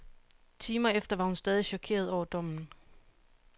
Timer efter var hun stadig chokeret over dommen.